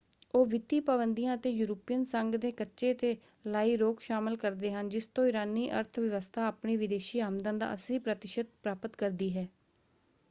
ਉਹ ਵਿੱਤੀ ਪਾਬੰਦੀਆ ਅਤੇ ਯੂਰਪੀਅਨ ਸੰਘ ਦੇ ਕੱਚੇ ‘ਤੇ ਲਾਈ ਰੋਕ ਸ਼ਾਮਲ ਕਰਦੇ ਹਨ ਜਿਸ ਤੋਂ ਇਰਾਨੀ ਅਰਥ ਵਿਵਸਥਾ ਆਪਣੀ ਵਿਦੇਸ਼ੀ ਆਮਦਨ ਦਾ 80% ਪ੍ਰਾਪਤ ਕਰਦੀ ਹੈ।